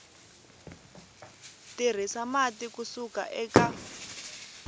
tirhisa mati ku suka eka